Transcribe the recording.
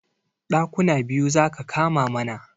Ɗakuna biyu zaka kama mana